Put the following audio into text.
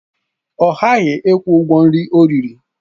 Ọ ghaghị ịkwụ ụgwọ nri ọ riri!